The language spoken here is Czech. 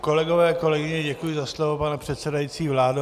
Kolegové, kolegyně, děkuji za slovo, pane předsedající, vládo.